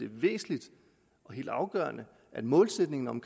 væsentligt og helt afgørende at målsætningen om